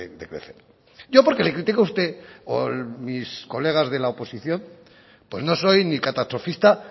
posibilidades de crecer yo porque le critico a usted o mis colegas de la oposición pues no soy ni catastrofista